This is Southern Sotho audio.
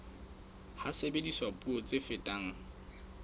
ha sebediswa puo tse fetang